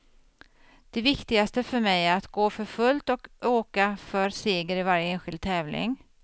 Det viktigaste för mig är att gå för fullt och åka för seger i varje enskild tävling.